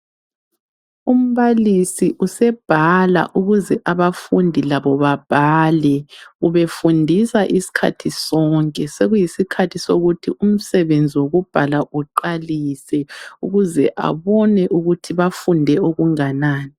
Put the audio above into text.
Umbalisi usebhala ukuze abafundi labo babhale. Ubefundisa isikhathi sonke. Sokuyisikhathi sokuthi umsebenzi wokubhala uqalise. Ukuze abone ukuthi bafunde okunganani.